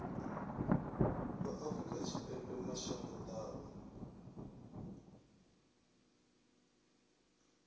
vha afrika tshipembe mashango ḓavha